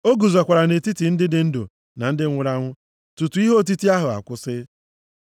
O guzokwara nʼetiti ndị dị ndụ na ndị nwụrụ anwụ tutu ihe otiti ahụ akwụsị.